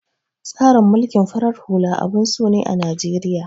Tsarin mulkin farar hula abun so ne a Najeriya.